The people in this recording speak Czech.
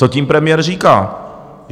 Co tím premiér říká?